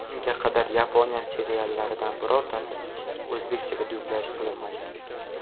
Unga qadar Yaponiya seriallaridan birortasi o‘zbekchaga dublyaj qilinmagan.